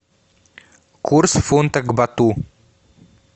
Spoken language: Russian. курс фунта к бату